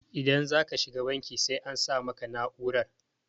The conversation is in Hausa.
idan za ka shiga banki sai an sa maka na'urar